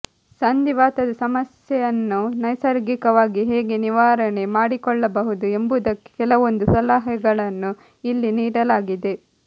ಸಂಧಿವಾತದ ಸಮಸ್ಯೆಯನ್ನು ನೈಸರ್ಗಿಕವಾಗಿ ಹೇಗೆ ನಿವಾರಣೆ ಮಾಡಿಕೊಳ್ಳಬಹುದು ಎಂಬುದಕ್ಕೆ ಕೆಲವೊಂದು ಸಲಹೆಗಳನ್ನು ಇಲ್ಲಿ ನೀಡಲಾಗಿದೆ